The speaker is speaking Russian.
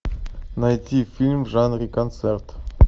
найти фильм в жанре концерт